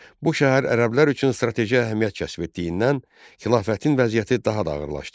Bu şəhər ərəblər üçün strateji əhəmiyyət kəsb etdiyindən xilafətin vəziyyəti daha da ağırlaşdı.